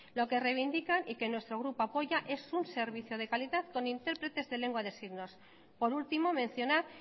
lo que reivindican y que nuestro grupo apoya es un servicio de calidad con intérpretes de lengua de signos por último mencionar